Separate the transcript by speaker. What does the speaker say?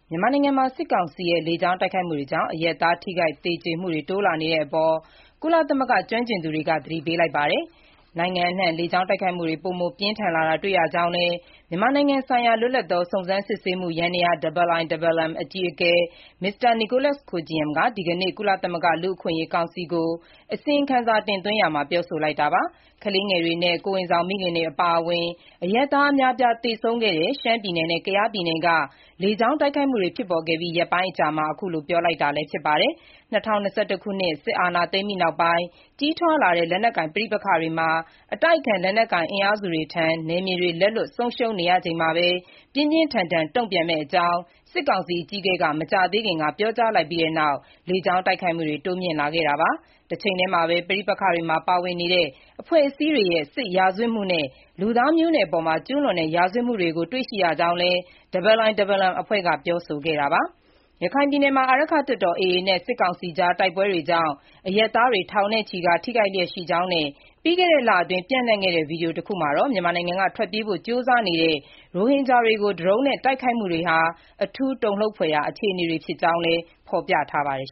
Speaker 1: မြန်မာနိုင်ငံမှာ စစ်ကောင်စီရဲ့ လေကြောင်းတိုက်ခိုက်မှုတွေကြောင့် အရပ်သား ထိခိုက်သေကျေမှုတွေ တိုးလာနေတဲ့အပေါ် ကုလသမဂ္ဂ ကျွမ်းကျင်သူတွေက သတိပေးလိုက်ပါတယ်။ နိုင်ငံအနှံ့ လေကြောင်းတိုက်ခိုက်မှုတွေ ပိုမိုပြင်းထန်လာတာ တွေ့ရကြောင်းလည်း မြန်မာနိုင်ငံဆိုင်ရာ လွတ်လပ်သော စုံစမ်းစစ်ဆေးမှုယန္တရား (IIMM) အကြီးအကဲ Mr. Nicholas Koumjian က ဒီကနေ့ ကုလသမဂ္ဂ လူ့အခွင့်အရေး ကောင်စီကို အစီရင်ခံစာ တင်သွင်းရာမှာ ပြောဆိုလိုက်တာပါ။ ကလေးငယ်တွေနဲ့ ကိုယ်ဝန်ဆောင်မိခင်တွေအပါအဝင် အရပ်သား အများအပြား သေဆုံးခဲ့တဲ့ ရှမ်းပြည်နယ်နဲ့ ကယားပြည်နယ်က လေကြောင်းတိုက်ခိုက်မှုတွေ ဖြစ်ပေါ်ခဲ့ပြီး ရက်ပိုင်း အကြာမှာ အခုလို ပြောလိုက်တာလည်း ဖြစ်ပါတယ်။ ၂၀၂၁ ခုနှစ် စစ်အာဏာသိမ်းပြီးနောက်ပိုင်း ကြီးထွားလာတဲ့ လက်နက်ကိုင် ပဋိပက္ခတွေမှာ အတိုက်အခံ လက်နက်ကိုင် အင်အားစုတွေထံ နယ်မြေတွေ လက်လွတ်ဆုံးရှုံးနေချိန်မှာပဲ ပြင်းပြင်းထန်ထန် တုံ့ပြန်မယ့်အကြောင်း စစ်ကောင်စီ အကြီးအကဲက မကြာသေးခင်က ပြောကြားလိုက်ပြီးနောက် လေကြောင်းတိုက်ခိုက်မှုတွေ တိုးမြှင့်လာခဲ့တာပါ။ တချိန်တည်းမှာပဲ ပဋိပက္ခတွေမှာ ပါဝင်နေတဲ့ အဖွဲ့အစည်းတွေရဲ့ စစ်ရာဇဝတ်မှုနဲ့ လူသားမျိုးနွယ်အပေါ် ကျုးလွန်တဲ့ ရာဇဝတ်မှုတွေကို တွေ့ရှိရကြောင်းလည်း IIMM အဖွဲ့က ပြောဆိုခဲ့တာပါ။ ရခိုင်ပြည်နယ်မှာ အာရက္ခတပ်တော် (AA) နဲ့ စစ်ကောင်စီကြား တိုက်ပွဲတွေကြောင့် အရပ်သားတွေ ထောင်နဲ့ချီကာ ထိခိုက်လျက်ရှိကြောင်းနဲ့ ပြီးခဲ့တဲ့လအတွင်း ပျံ့နှံ့ခဲ့တဲ့ဗွီဒီယိုတစ်ခုမှာ မြန်မာနိုင်ငံက ထွက်ပြေးဖို့ ကြိုးစားနေတဲ့ ရိုဟင်ဂျာတွေကို ဒရုန်းနဲ့တိုက်ခိုက်မှုတွေဟာ အထူးတုန်လှုပ်ဖွယ်ရာအခြေအနေတွေ ဖြစ်ကြောင်းလည်း ဖော်ပြထားပါတယ်